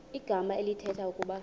igama elithetha ukuba